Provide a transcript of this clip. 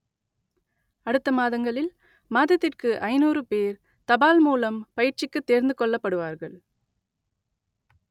அடுத்த மாதங்களில் மாதத்திற்கு ஐநூறு பேர் தபால் மூலம் பயிற்சிக்கு தேர்ந்துக் கொள்ளப்படுவார்கள்